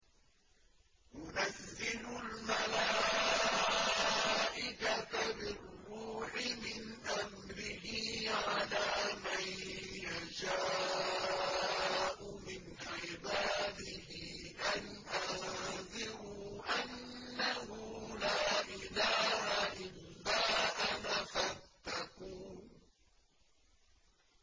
يُنَزِّلُ الْمَلَائِكَةَ بِالرُّوحِ مِنْ أَمْرِهِ عَلَىٰ مَن يَشَاءُ مِنْ عِبَادِهِ أَنْ أَنذِرُوا أَنَّهُ لَا إِلَٰهَ إِلَّا أَنَا فَاتَّقُونِ